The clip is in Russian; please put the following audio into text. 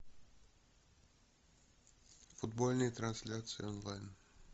футбольные трансляции онлайн